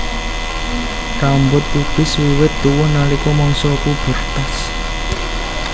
Rambut pubis wiwit tuwuh nalika mangsa pubertas